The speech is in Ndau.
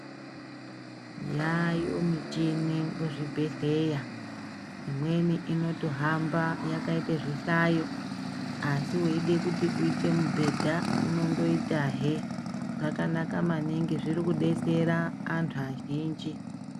Yayo michini muzvibhedhleya, imweni inotohamba yakayite zvihlayo asi weyide kuti uyite mubhedha, unondoyitahe zvakanaka maningi zviri kudetsera antu azhinji.